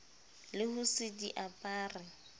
le ho se di apare